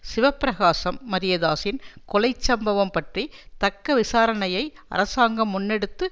சிவப்பிரகாசம் மரியதாஸின் கொலை சம்பவம் பற்றி தக்க விசாரணையை அரசாங்கம் முன்னெடுத்து